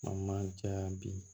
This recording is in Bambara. O man ca bi